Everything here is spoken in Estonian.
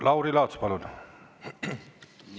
Lauri Laats, palun!